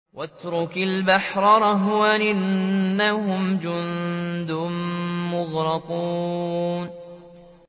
وَاتْرُكِ الْبَحْرَ رَهْوًا ۖ إِنَّهُمْ جُندٌ مُّغْرَقُونَ